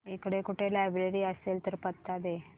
इकडे कुठे लायब्रेरी असेल तर पत्ता दे